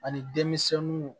Ani denmisɛnninw